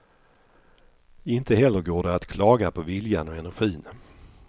Inte heller går det att klaga på viljan och energin.